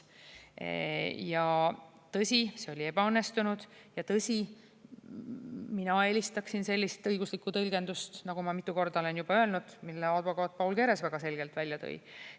Tõsi, see oli ebaõnnestunud, ja tõsi, mina eelistaksin sellist õiguslikku tõlgendust, nagu ma mitu korda olen juba öelnud, mille advokaat Paul Keres väga selgelt välja tõi.